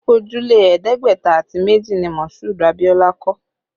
Ojúlé ẹ̀ẹ́dẹ́gbẹ̀ta àti méjì ni Masudi Abiola kọ́